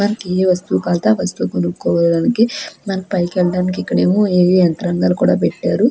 మనకి ఏ వస్తువు కవల్తే ఆ వస్తువు కొనుక్కోవడనికి మనకి పైకి ఏళ్ళడానికి ఇక్కడేమో ఏవో యంత్రాంగాలు కూడ పెట్టారు.